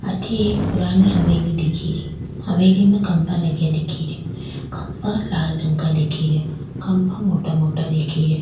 आठ एक पुरानी हवेली दिख री हवेली मे खम्भा लगे दिख रा खम्भा लाल रंग का दिख रा खम्भा मोटा दिख रा।